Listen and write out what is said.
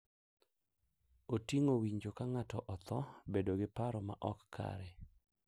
Oting’o winjo ka ng’ato otho, bedo gi paro ma ok kare,